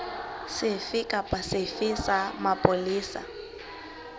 sefe kapa sefe sa mapolesa